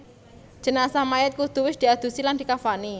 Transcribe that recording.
Jenazah Mayit kudu wis diadusi lan dikafani